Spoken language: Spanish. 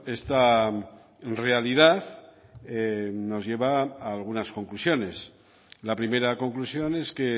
esta realidad nos lleva a algunas conclusiones la primera conclusión es que